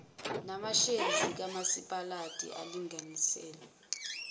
namashezi kamasipalati alinganiselwe